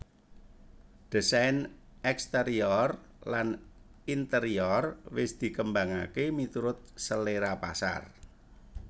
Désain exterior lan interior wis dikembangaké miturut selera pasar